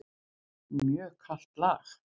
Mjög kalt lag.